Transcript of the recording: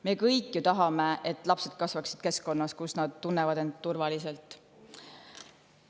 Me kõik ju tahame, et lapsed kasvaksid keskkonnas, kus nad tunnevad end turvaliselt.